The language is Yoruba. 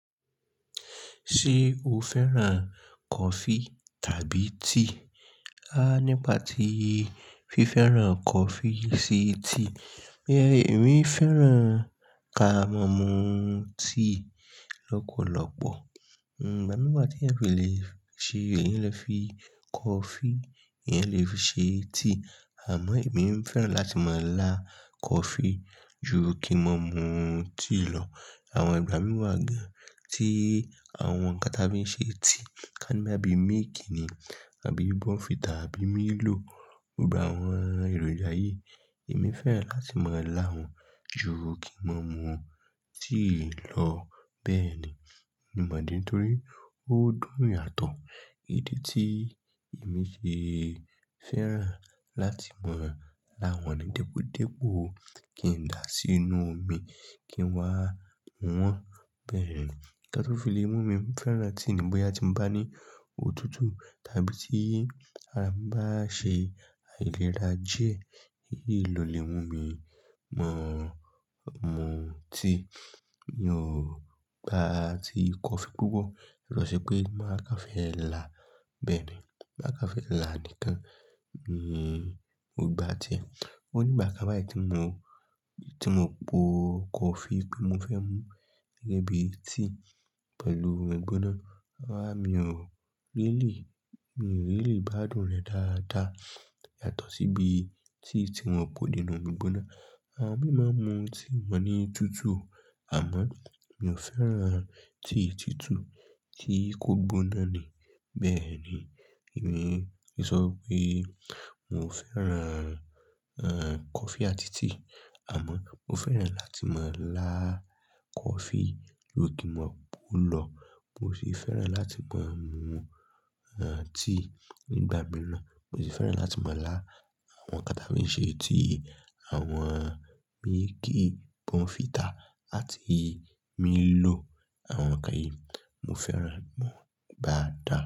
Ṣé o fẹ́ràn coffee tàbí tea? Há, nígbà tí fi fẹ́ràn coffee sí tea, ẹ, èmi fẹ́ràn ká máa mú tea lọ́pọ̀lọ́pọ̀. Ǹ gbá mi wa tí ẹ̀yan fi lè ṣe, èyan le fi coffee, eyan lè fi ṣe tea. Àmọ́ èmi fẹ́ràn láti máa lá coffee ju kí máa mú tea lọ. Àwọn ìgbà mìí wa gan tí àwọn nǹkan tí a fi ń ṣe tea ká ni boya bíi milk ni àbí bunfita abí Milo. Gbogbo àwọn èròjà yìí, èmi fẹ́ràn láti máa lá wọ́n ju kí máa mú tea lọ. Bẹ́ẹ̀ ni, mo mọ̀ ni torí ó dùn yàtọ̀. Idí tí emi ṣe fẹ́ràn láti máa lá wọ́n ni dípòdípò kí n dà á sínú omi kí n wá mú wọn. Bẹ́ẹ̀ ni, nǹkan tó fi lè mú mi ń fẹ́ràn tea ni bóyá tí mo bá ní òtútù tàbí tí ara mi bá ṣe ailẹ̀rà díẹ̀, èyí lọ lè mú mi máa mú tea. Mi ò gbá ti coffee púpọ̀. Bi o ṣe pé máa kan fẹ́ làá. Bẹ́ẹ̀ ni, máa kan fẹ́ là á nìkan. Hmm, mo gbà tíẹ̀. Ó ní ìgbà kán bayí tí mo, tí mo po coffee pe mo fẹ́ mú gẹ́gẹ́ bí tea pẹ̀lú egbóná. Rará, mi ò really, mi ò really gbádùn rẹ̀ dáadáa yàtọ̀ sí bí tea tí mọ́ pò nínú omi gbóná. Àwon mii máa n mú tea wọ́n ní tútù, àmọ́ mi ò fẹ́ràn tea tútù tí kò gbóná ni. Bẹ́ẹ̀ ni, èmi ń sọ pé n ò fẹ́ràn, ẹ́, coffee àti tea, àmọ́ mo fẹ́ràn láti máa lá coffee ju kín máa po lọ. Mo sì fẹ́ràn láti máa mú, ẹ́, tea nígbà mìíràn. Mo sì fẹ́ràn láti máa lá àwọn nǹkan tí a fi ń ṣe tea, àwọn milky, bunfità atí Milo. Àwọn nǹkan yìí, mo fẹ́ràn, gbogbo won dáa.